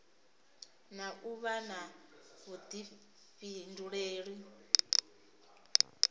na u vha na vhuḓifhinduleli